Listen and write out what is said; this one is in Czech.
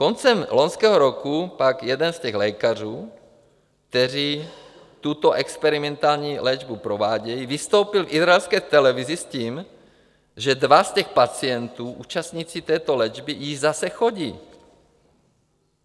Koncem loňského roku pak jeden z těch lékařů, kteří tuto experimentální léčbu provádějí, vystoupil v izraelské televizi s tím, že dva z těch pacientů, účastníků této léčby, již zase chodí.